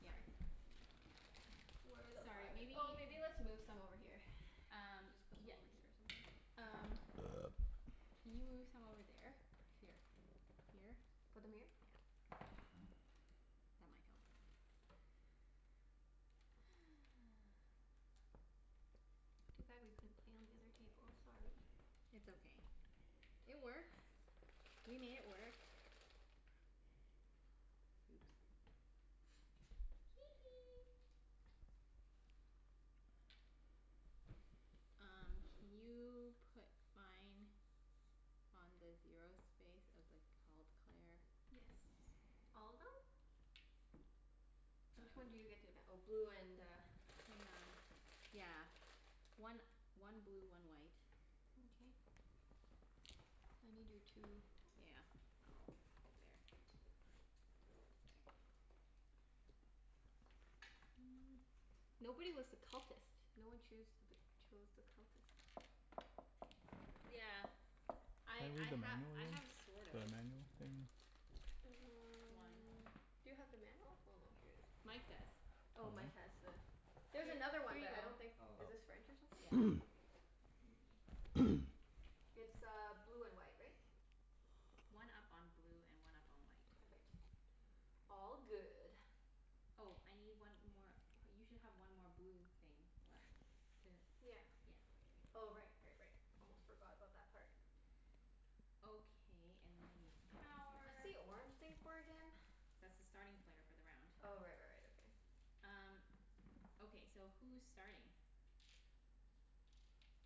Yeah. Sorry. Where the Sorry, f- maybe oh, maybe let's move some over here. Um, Just put some yeah. over here or C- something. um Can you move some over there? Here. Here? Put them here? Yeah. That might help. Too bad we couldn't play on the other table. Sorry. It's okay. Twenty It coins. works. We made it work. Oops. Hee hee. Um can you put mine on the zero space of the cult, Claire? Yes. All of them? Which one do you get to v- oh, blue and uh Hang on. Yeah. One one blue, one white. Mkay. I need your two Yeah. I'll put it there. Just a second. Nobody was the cultist. No one choose th- chose the cultist. Yeah. I Can I read I the ha- manual again? The manual I thing? have sort of. One. Mm. Do you have the manual? Oh no, here it is. Mike does. Oh, Oh, Mike? Mike has the, H- there's another one but I here don't you go. think, Oh. is this French or something? Yeah. Oh. Mkay. It's uh blue and white, right? One up on blue and one up on white. Perfect. All good. Oh, I need one more, you should have one more blue thing left. Did, Yeah. yeah, okay. Oh Good. right, right, right. Almost forgot about that part. Okay, and then I need What's power. the orange thing for again? That's the starting player for the round. Oh right, right, right. Okay. Um, okay so who's starting?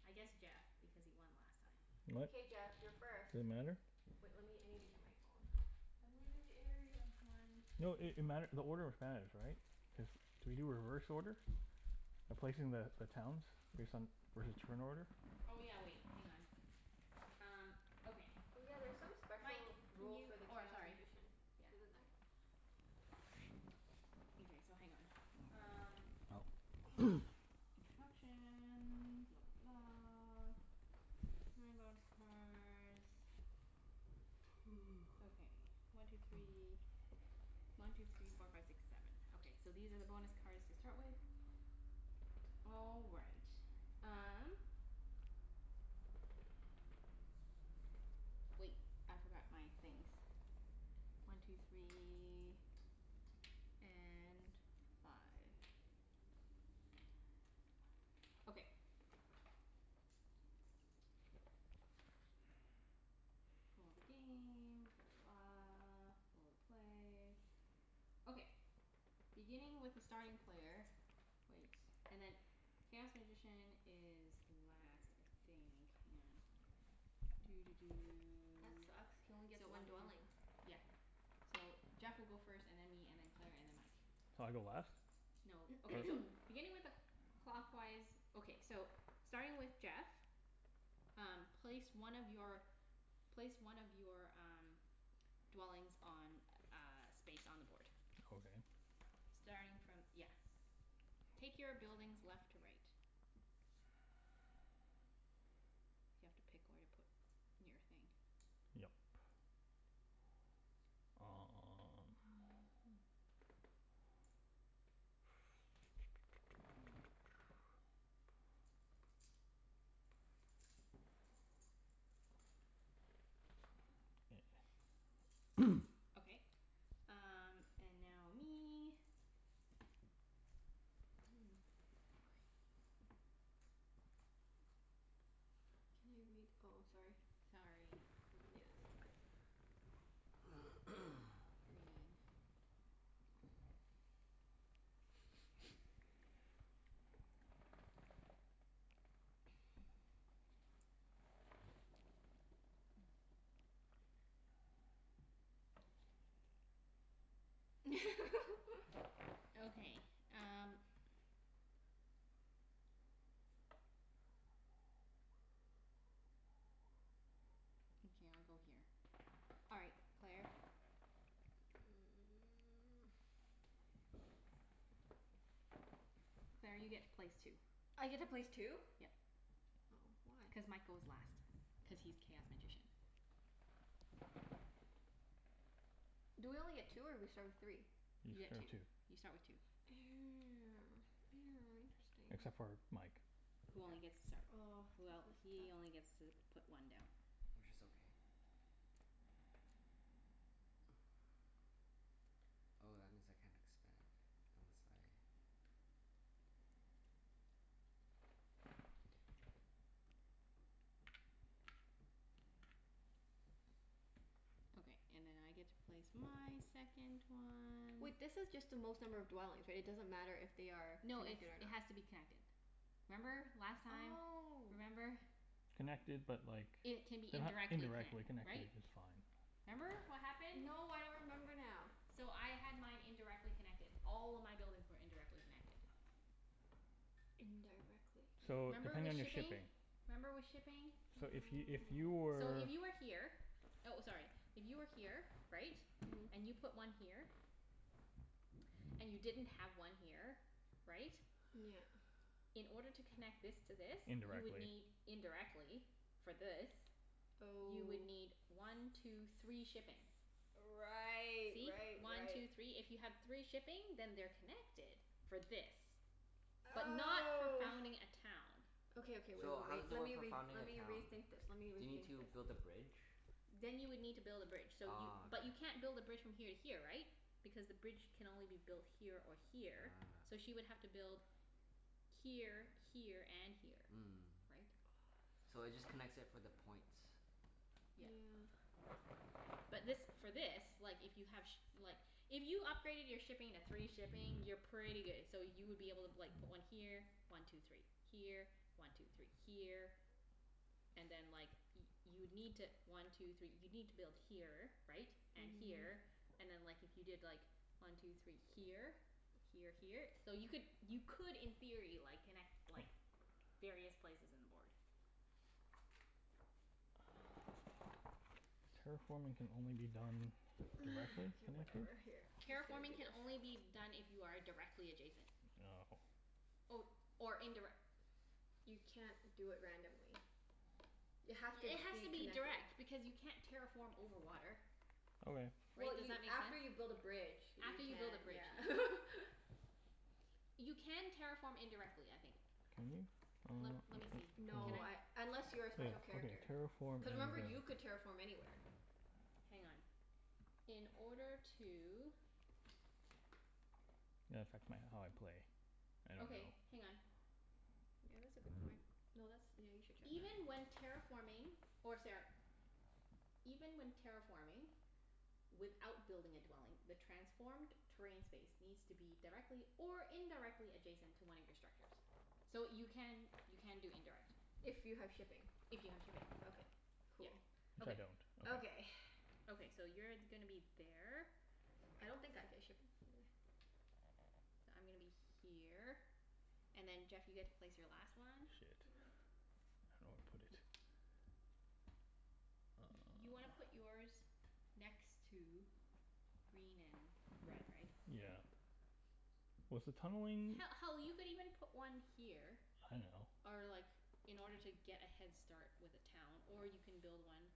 I guess Jeff, because he won last time. What? K Jeff, you're first. Does it matter? Wait, let me, I need to get my phone. I'm leaving the area. One No it two it mat- the order matters, right? Cuz do we do reverse order by placing the the towns return order? Oh yeah, wait. Hang on. Um okay. Oh yeah, there's some Mike, special can rule you, for the oh, chaos sorry. magician. Yeah. Isn't there? Okay, so hang on. Um Oh. Instructions. Blah blah blah. Okay, one two three One two three four five six seven. Okay, so these are the bonus cards to start with. All right. Um Wait, I forgot my things. One two three And five. Five five. Okay. All the game. Blah, blah, blah. All the play. Okay. Beginning with the starting player Wait. And then, chaos magician is last, I think. Hang on. Doo doo That doo. sucks. Can only get So one one two three four dwelling. Yep. So Jeff will go first, and then me, and then Claire, and then Mike. So I go last? No, okay, Or so. Beginning with a cl- clockwise Okay, so starting with Jeff Um place one of your, place one of your um dwellings on a space on the board. Okay. Starting from, yeah. Take your buildings left to right. You have to pick where to put your thing. Yep. Oh yeah, Um hmm. Okay. Um and now me. Can I read, oh, sorry. Sorry. Yeah, it's okay. Green. Okay, um Okay, I'll go here. All right, Claire. Claire, you get to place two. I get to place two? Yep. Oh. Why? Cuz Mike goes last, cuz he's chaos magician. Do we only get two or we start with three? You You get two. start two. You start with two. Except Interesting. for Mike. Who only gets to start, Oh, well, this is tough. he only gets to put one down. Which is okay. Oh, that means I can't expand unless I Okay, and then I get to place my second one. Wait, this is just the most number of dwellings, right? It doesn't matter if they are No, it's, connected or it not. has to be connected. Remember, last time? Oh. Remember? Connected but like they It can be h- indirectly indirectly connect- connected right? is fine. Remember what happened? No, I don't remember now. So I had mine indirectly connected. All of my buildings were indirectly connected. Indirectly. So, Remember depending with on your shipping? shipping. Remember with shipping? So if y- if you So were if you were here, oh, sorry. If you were here, right? Mhm. And you put one here. And you didn't have one here, right? Yeah. In order to connect this to this, you would Indirectly. need, indirectly for this You would Oh. need one two three shipping. Right, See? right, One right. two three. If you have three shipping then they're connected for this. But not for Oh. founding a town. Okay, okay. Wait, wait, So, how wait. does it Let work me for re- founding let a me town? rethink this. Let me Do you need rethink to this. build a bridge? Then you would need to build a bridge. So you, Ah, but okay. you can't build a bridge from here to here, right? Because the bridge can only be built here or here, so she would have to build here, here, and here. Mm. Right? So it just connects it for the points. Yeah. Yeah. But this, for this, like if you have shi- like If you upgraded your shipping to three shipping, you're pretty good. So you would be able to like put one here. One two three. Here. One two three. Here. And then like y- you'd need to, one two three, you'd need to build here, right? And Mhm. here. And then like, if you did like, one two three here? Here, here. So you could, you could in theory like, connect like various places in the board. Terraforming can only be done directly Okay, connected? whatever. Here, I'm Terraforming just can gonna do only be this. done if you are a- directly adjacent. No. Or, or indirec- You can't do it randomly. You have to It has be to be connected. direct because you can't terraform over water. Okay. Well Right? Does you, that make after sense? you build a bridge you After you build a can, bridge, yeah. yeah. You can terraform indirectly, I think. Can you? Let let me see. Can No, I, I unless Just you're a wait, special okay, character. terraform Cuz remember, you could terraform anywhere. Hang on. In order to Might affect my how I play. I don't Okay, know. hang on. Yeah, that's a good point. No, that's, yeah, you should check that. Even when terraforming or sara- Even when terraforming without building a dwelling the transformed terrain space needs to be directly or indirectly adjacent to one of your structures. So you can, you can do indirect. If you have shipping. If you have shipping, Okay. yeah. Cool. Which I Okay. don't. Okay. Okay. Okay, so you're gonna be there. I don't think I get shipping for the I'm gonna be here, and then Jeff you get to place your last one. Shit. Yeah. I don't know where to put it. Y- you wanna put yours next to green and red, right? Yeah. Was the tunneling He- hell, you could even put one here I know. or like, in order to get a head start with a town. Or you can build one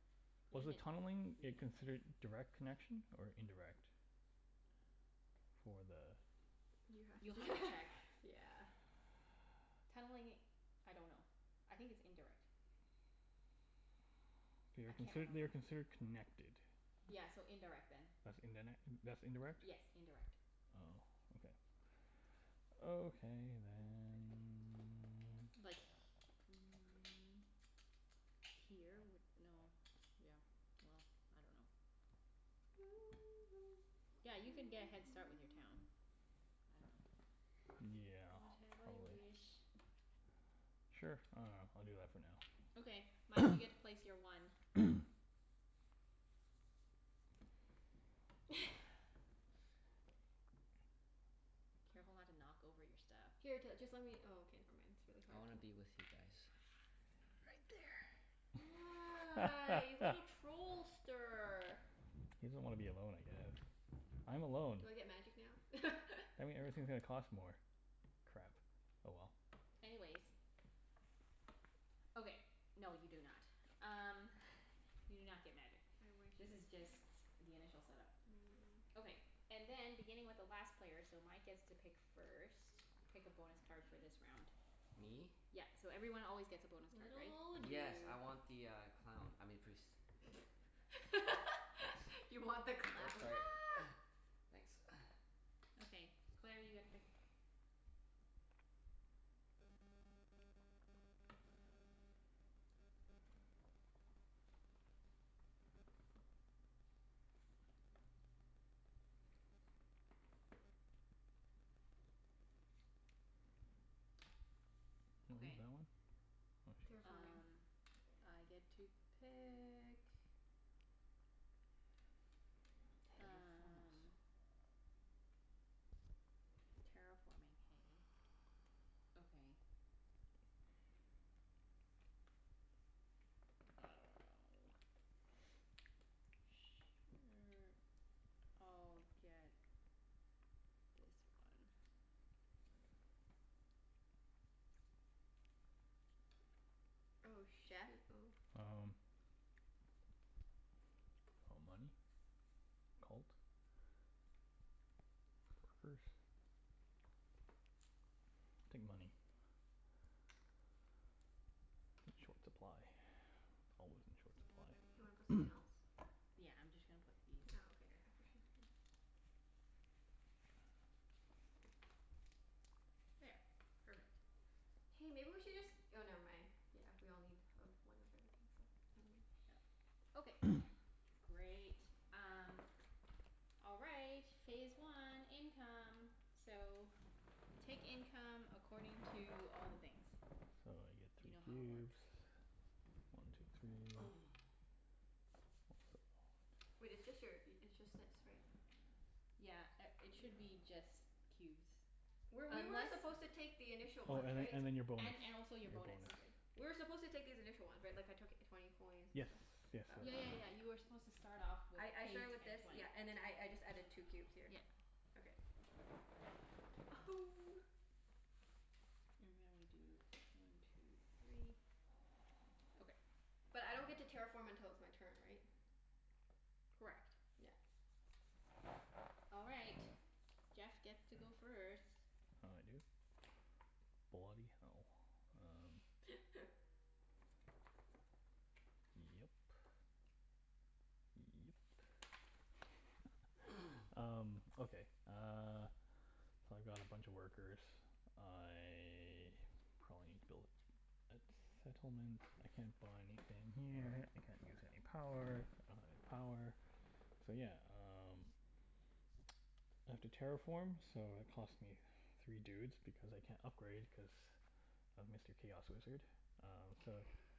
Was Green the tunneling it considered direct connection or indirect? For the You have You'll have to to check. yeah. Tunneling, I dunno. I think it's indirect. They I are can't consid- they are remember. considered connected. Yeah, so indirect then. That's indin- that's Yes, indirect? indirect. Oh, okay. Okay then. Like mm Here would, no, yeah. Well, I dunno. Yeah, you could get a head start with your town. Yeah. Whatever you Probably. wish. Sure. I dunno. I'll do that for now. Okay. Mike, you get to place your one. Careful not to Oh. knock over your stuff. Here t- just let me, oh, okay, never mind. It's really I hard wanna to be with you guys. Right there. Ah, you little trollster. He doesn't want to be alone, I guess. I'm alone. Do I get magic now? That mean No. everything's gonna cost more. Crap. Oh well. Anyways. Okay. No, you do not. Um you do not get magic. I wish This I is just did. the initial set up. Mm, yeah. Okay. And then beginning with the last player, so Mike gets to pick first. Pick a bonus card for this Please. round. Me? Yep, so everyone always gets a bonus card, Little right? old Yes, you. I want the uh clown. I mean priest. You want the Thank. Oops, clown. sorry. Thanks. Okay. Claire, you get to pick. that Okay. one. Oh shit. Terraforming. Um I get to pick. Terraform us. Um. Terraforming, hey? Okay. I dunno. Sure, I'll get this one. Oh Jeff? shoot. Oh. Um, money? Cult. Um. Workers. I'll take money. I'm in short supply. Always in short supply. Do you wanna put something else? Yeah, I'm just gonna put these Oh, okay, here. yeah. For sure. Here. There. Perfect. Hey, maybe we should just, oh never mind. Yeah, we all need, of, one of everything, so never mind. Yep. Okay, great. Um All right. Phase one. Income. So, take income according to all the things. You know So I how get three it cubes. works. One two three. Wait, it's just your, it's just that, sorry. Yeah a- Yeah. it should be just Were, cubes. we were Unless supposed to take the initial Oh, ones, and then right? and then your bonus. And and Your also bonus. your Okay. bonus. We were supposed to take these initial ones, right? Like, I took twenty coins and Yes, stuff? yes. Oh, okay. Yeah yeah yeah, you were supposed to start off with I I eight started with and this, twenty. yeah, and then I I just added two cubes here. Yep. Okay. And now we do one two three. Okay. But I don't get to terraform until it's my turn, right? Correct. Yeah. All right. Jeff gets to go first. Oh, I do? Bloody hell. Um Yep. Yep. Um, okay uh So I've got a bunch of workers. I probably need to build a settlement. I can't buy anything here. I can't use any power. I don't have any power. So yeah, um I have to terraform so it cost me three dudes, because I can't upgrade, cuz of Mr. Chaos Wizard. Um so,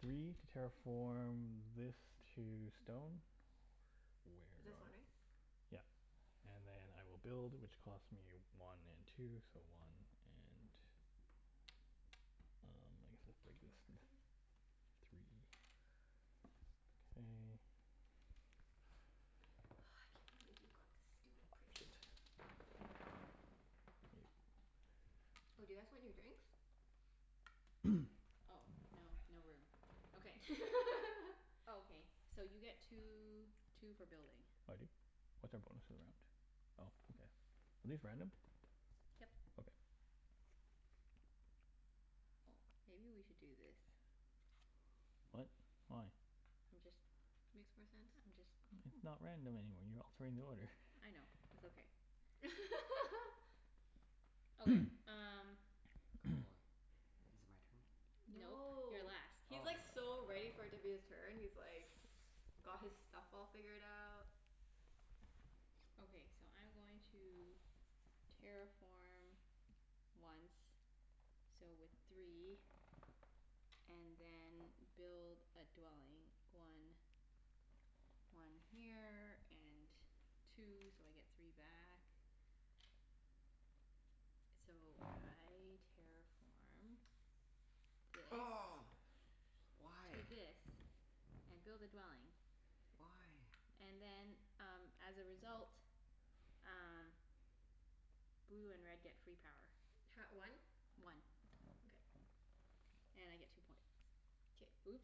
three to terraform this to stone. Where It's this one, though? right? Yep. And then I will build which costs me one and two, so one and Um, Don't touch my workers. I guess three, K. Oh, I can't believe you got the stupid priest. Shit. Oh, do you guys want your drinks? Oh, no. No room. Okay. Okay. So you get two two for building. I do? What's our bonus for the round? Oh, okay. Are these random? Yep. Okay. Oh, maybe we should do this. What? Why? I'm just Makes more sense. I'm just It's not random anymore. You're altering the order. I know. It's okay. Okay, um Cool. Is it my turn? Nope. You're No. last. He's like Oh. so ready for it to be his turn. He's like got his stuff all figured out. Okay, so I'm going to terraform once. So with three And then build a dwelling. One one here and two, so I get three back. So I terraform this Oh, to why? this and build a dwelling. Why? And then um as a result um blue and red get free power. Ha- one? One. Okay. And I get two points. K. Oops.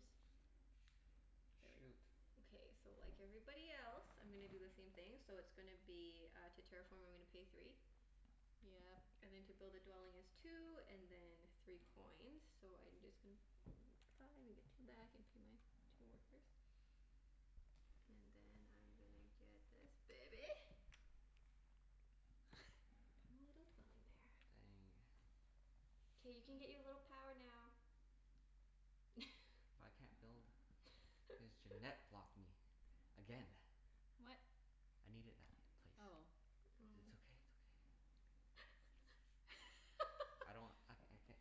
There we go. Shoot. Okay, so like everybody else I'm gonna do the same thing. So it's gonna be uh, to terraform I'm gonna pay three. Yep. And then to build a dwelling is two, and then three coins. So I'm just gon- Five, and get two back, and pay my two workers. And then I'm gonna get this baby. Put a little dwelling there. Dang. K, you can get your little power now. I can't build cuz Junette blocked me again. What? I needed that place. But it's Oh. okay, it's Oh. okay. I don't, I I can't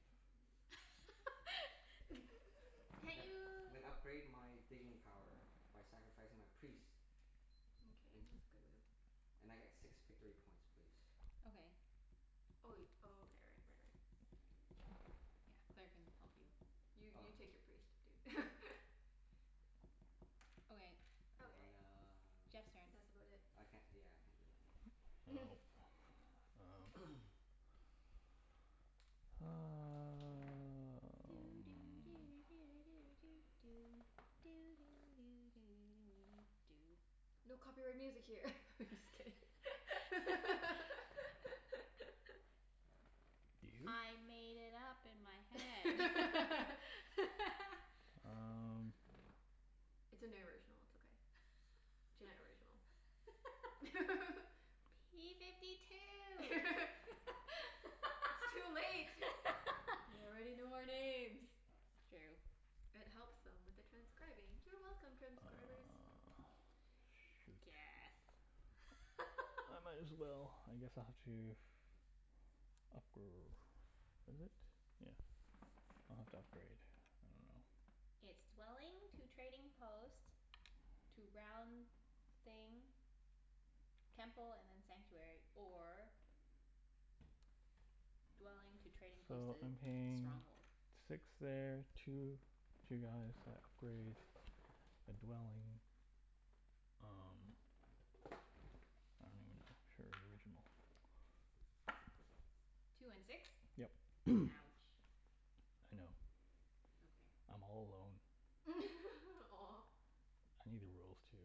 I'm Can't gonna you I'm gonna upgrade my digging power by sacrificing my priest. Mkay, And that's good move. and I get six victory points please. Okay. Oh wai- oh, okay, right, right, right. Yeah. Claire can help you. You Oh, you take yeah. your priest, dude. Okay. Okay. And uh, Jeff's turn. That's about it. I can't, yeah, I can't do anything. Um Doo doo do do do doo doo. Doo doo do do do doo doo doo. No copyright music here. I'm just kidding. Do you? I made it up in my head. Um It's an original. It's okay. Junette original. P fifty two. It's too late. They already know our names. It's true. It helps them with the transcribing. You're welcome, transcribers. Ah, shoot. Guess. I might as well, I guess I'll have to Upgr- is it? Yeah. I'll have to upgrade. I dunno. It's dwelling to trading post to round thing Temple and then sanctuary. Or dwelling to trading post So to I'm paying stronghold. six there. Two, two guys at gray. A dwelling. Um, I don't even know. Sure, the original. Two and six? Yep. Ouch. I know. Okay. I'm all alone. Aw. I need the rules, too.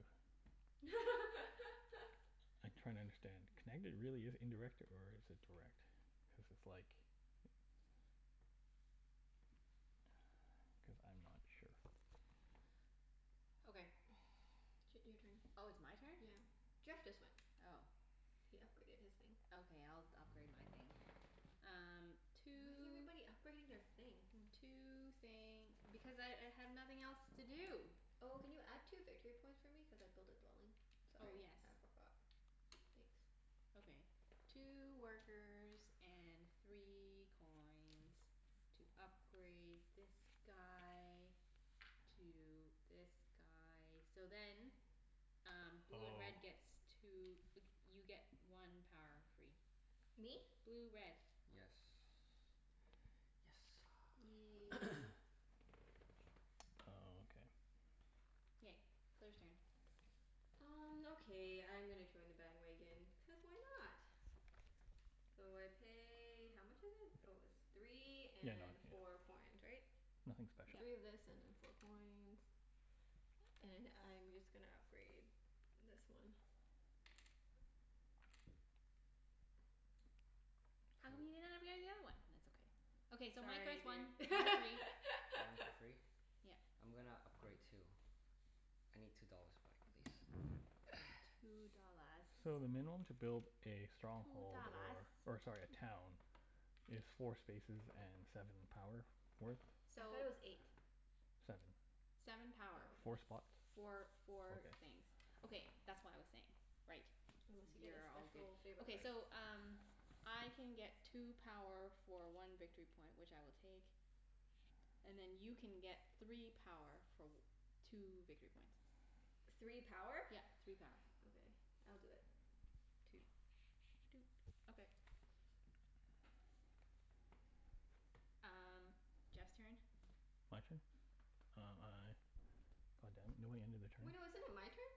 I'm trying to understand. Can I g- really use indirect, or is it direct? Cuz it's like Cuz I'm not sure. Okay. Ch- your turn. Oh, it's my turn? Yeah. Jeff just went. Oh. He upgraded his thing. Okay, I'll d- upgrade my thing. Um Why is two everybody upgrading their thing? Hmm. two thing. Because I I have nothing else to do. Oh, can you add two victory points for me? Cuz I built a dwelling. Oh, Sorry, yes. I forgot. Thanks. Okay. Two workers and three coins. To upgrade this guy to this guy. So then um blue and Oh. red gets two, like you get one power free. Me? Blue red. Yes. Yes sir. Yay. Oh, okay. K. Claire's turn. Um okay, I'm gonna join the bandwagon, cuz why not? So I pay, how much is it? Oh, it's three Yeah, and no four coins, yeah, right? nothing special. Three Yep. of this and then four coins. And I'm just gonna upgrade this one. How come Poo. you didn't upgrade the other one? It's okay. Okay, so Mike Sorry gets one. dude. One three One for free? Yep. I'm gonna upgrade too. I need two dollars back please. Two dollars. So the minimum to build a Two stronghold dollars. or, or sorry, a town is four spaces and seven power worth. I So thought it was eight. Seven. Seven Oh, power. Four okay. spots. Okay. Four four things. Okay, that's what I was saying. Right. Unless you get a You're all good. special favor Okay, card. so um I can get two power for one victory point, which I will take. And then you can get three power for w- two victory points. Three power? Yep. Three power. Okay. I'll do it. Two. Doot. Okay. Um Jeff's turn. My turn? Um I God damn it, no, we ended a Wait, no, turn? isn't it my turn?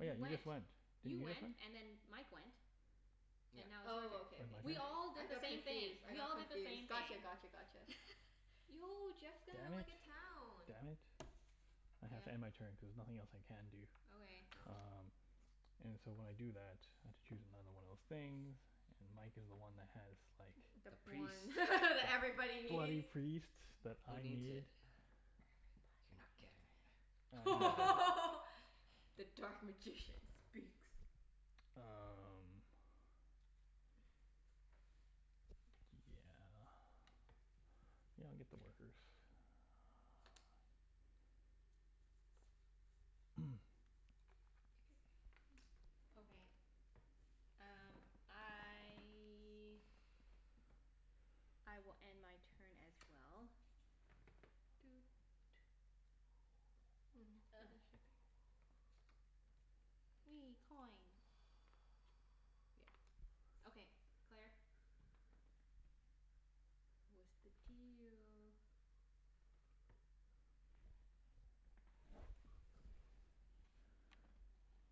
Oh yeah, you You just went. went, didn't You you just went went? and then Mike went. And Yep. now it's your turn. Oh, Is okay, it okay, my We sorry. turn? all I did the got same thing. confused. I We got all did the confused. same Gotcha, thing. gotcha, gotcha. Yo, Jeff's gonna Damn have it. like a town. Damn it. I have to Yep. end my turn cuz nothing else I can do. Okay. Oh. Um And so when I do that, I have to choose another one of those things. And Mike is the one that has like the The The one priest. that everybody bloody needs. priest that Who I needs it? need. Everybody You're needs it. not getting it. The dark magician speaks. Um Yeah. Yeah, I'll get the workers. K. Okay, um I I will end my turn as well. Doot. Mm. shipping. Wee, coin. Yeah. Okay, Claire? What's the deal?